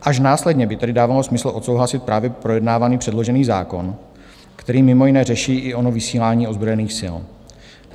Až následně by tedy dávalo smysl odsouhlasit právě projednávaný předložený zákon, který mimo jiné řeší i ono vysílání ozbrojených sil.